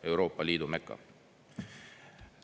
Euroopa Liidu meka.